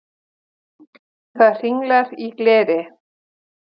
Það hringlar í gleri.